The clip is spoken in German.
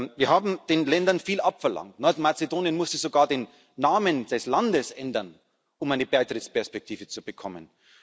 Wir haben den Ländern viel abverlangt Nordmazedonien musste sogar den Namen des Landes ändern, um eine Beitrittsperspektive zu bekommen.